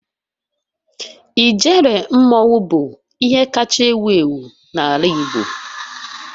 Ijele mmanwu bụ ihe kacha ewu ewu n'ala igbo.